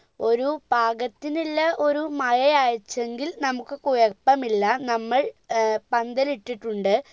ഒരു പാകത്തിനില്ല ഒരു മഴയായിട്ടെങ്കിൽ നമ്മുക് കുഴപ്പമില്ല നമ്മൾ ഏർ പന്തലിട്ടിട്ടുണ്ട്